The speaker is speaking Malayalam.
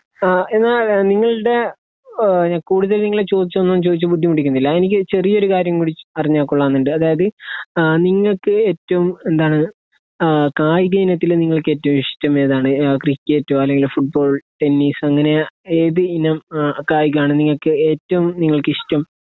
ആ എന്നാൽ നിങ്ങൾടെ ഏഹ് കൂടുതൽ നിങ്ങൾ ചോദിച്ചൊന്നും ചോയിച്ച് ബുദ്ധിമുട്ടിപ്പിക്കുന്നില്ല എനിക്ക് ചെറിയൊരു കാര്യം കൂടി അറിഞ്ഞാ കൊള്ളാം ന്ന് ഇണ്ട് അതായത് ആ നിങ്ങക്ക് ഏറ്റോം എന്താണ് ആ കായിക ഇനത്തിൽ നിങ്ങൾക്ക് ഏറ്റോം ഇഷ്ട്ടം ഏതാണ് ആ ക്രിക്കറ്റോ അല്ലെങ്കിൽ ഫുട്‍ബോൾ ട്ടെന്നീസ് അങ്ങനെ ഏത് ഇനം ഏഹ് കായികാണ് നിങ്ങക്ക് ഏറ്റോം നിങ്ങൾക്ക് ഇഷ്ട്ടം